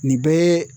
Nin bɛɛ